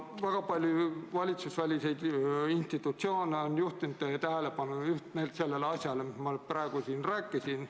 Väga paljud valitsusvälised institutsioonid on juhtinud teie tähelepanu just nimelt sellele, millest ma praegu siin rääkisin.